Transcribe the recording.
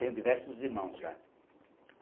Tenho diversos irmãos já.